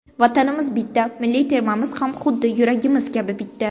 Vatanimiz bitta, milliy termamiz ham xuddi yuragimiz kabi bitta!